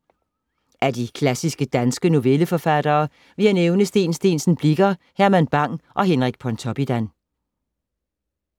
Af de klassiske danske novelleforfattere vil jeg nævne Steen Steensen Blicher, Herman Bang og Henrik Pontoppidan.